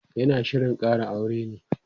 yana Shirin Kara aure ne?